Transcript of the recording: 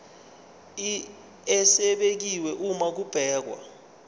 esibekiwe uma kubhekwa